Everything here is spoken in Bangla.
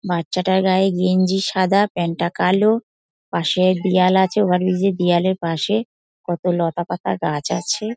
বাচ্চাটার গায়ে গেঞ্জি সাদা প্যান্ট টা কালো পাশে দেওয়াল আছে ওভার ব্রীজের দেওয়ালের পাশে কত লতাপাতা গাছ আছে।